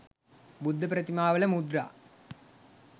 බුද්ධප්‍රතිමාවල මුද්‍රා